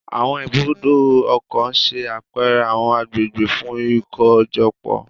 Awọn Ibùdó ọkọ̀ n ṣe apẹrẹ awọn agbegbe fun ikojọpọ